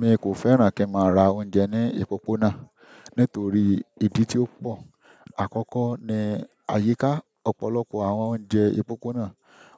Mi kò fẹ́ràn kí n máa ra oúnjẹ ní òpópónà nítorí ìdí tí ó pọ̀. Àkọ́kọ́ ni àyíká ọ̀pọ̀lọpọ̀ àwọn oúnjẹ òpópónà,